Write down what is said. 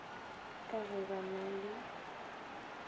ka ge ba na le